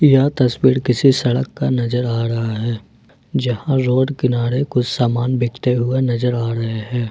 यह तस्वीर किसी सड़क का नजर आ रहा है जहां रोड किनारे कुछ सामान बिकते हुए नजर आ रहे हैं।